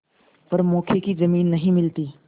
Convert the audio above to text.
पर मौके की जमीन नहीं मिलती